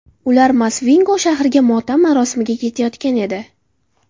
Ular Masvingo shahriga motam marosimiga ketayotgan edi.